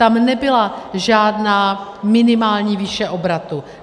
Tam nebyla žádná minimální výše obratu.